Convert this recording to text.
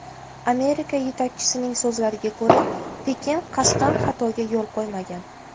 Amerika yetakchisining so‘zlariga ko‘ra, Pekin qasddan xatoga yo‘l qo‘ymagan.